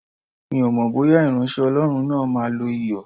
Mi ò mọ̀ bóyá ìránṣẹ́ Ọlọ́run náà máa lo Iyọ̀.